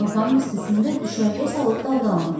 Günortanın istisində düşərgə salıb daldalanırlar.